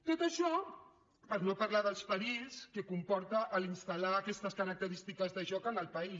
tot això per no parlar dels perills que comporta installar aquestes característiques de joc en el país